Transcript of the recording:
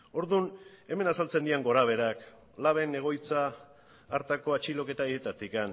orduan hemen azaltzen diren gorabeherak laben egoitza hartako atxiloketa haietatik